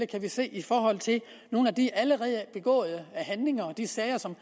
kan vi se i forhold til nogle af de allerede begåede handlinger og de sager som